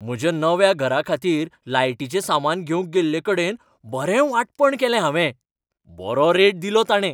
म्हज्या नव्या घराखातीर लायटीचें सामान घेवंक गेल्लेकडेन बरें वांटपण केलें हांवें! बरो रेट दिलो ताणें.